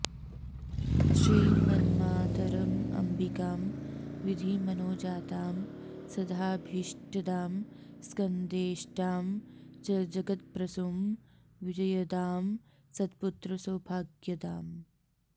श्रीमन्मातरमम्बिकां विधि मनोजातां सदाभीष्टदां स्कन्देष्टां च जगत्प्रसूं विजयदां सत्पुत्र सौभाग्यदाम्